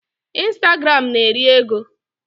Instagram na-eri ego.